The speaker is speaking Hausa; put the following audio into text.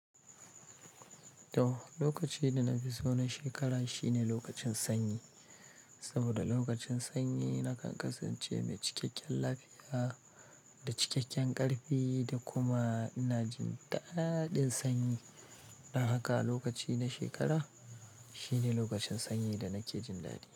To, lokaci da na fi so na shekara shine lokacin sanyi. Saboda lokacin sanyi na kan kasance mai cikakken lafiya da cikakken ƙarfi da kuma ina jin daɗin sanyi. Don haka lokaci na shekara shine lokacin sanyi da nake jin daɗi.